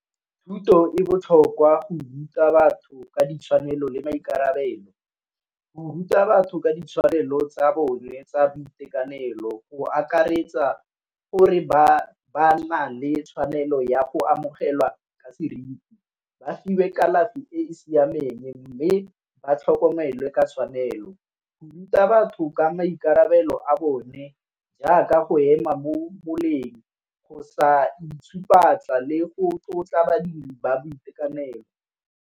Thuto e botlhokwa go ruta batho ka ditshwanelo le maikarabelo, go ruta batho ka ditshwanelo tsa bone tsa boitekanelo go akaretsa gore ba nna le tshwanelo ya go amogelwa ka seriti. Ba fiwe kalafi e e siameng, mme ba tlhokomelwe ke tshwanelo. Ruta batho ka maikarabelo a bone jaaka go ema mo boleng go sa le go tlotla badiri ba boitekanelo.